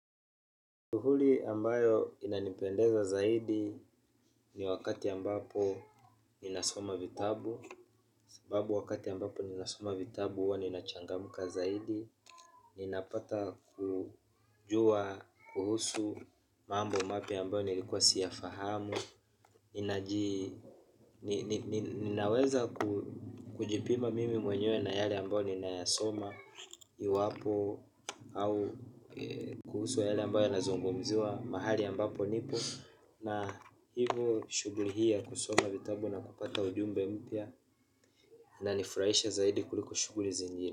Shughuli ambayo inanipendeza zaidi ni wakati ambapo ninasoma vitabu. Sebabu wakati ambapo ninasoma vitabu huwa ninachangamka zaidi. Ninapata kujua, kuhusu mambo maya ambayo nilikuwa siyafahamu. Ninaweza kujipima mimi mwenye na yale ambayo ninayasoma. Iwapo au kuhusu wa yale ambayo yanazungumziwa mahali ambapo nipo. Na hivyo shughuri hii ya kusoma vitabu na kupata ujumbe mpya. Inanifurahisha zaidi kuliko shughuri zingine.